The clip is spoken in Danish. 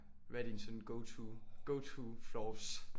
Hvad er dine sådan go to go to floors